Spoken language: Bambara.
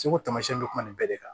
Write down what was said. Segu tamasiyɛn bɛ kuma nin bɛɛ de kan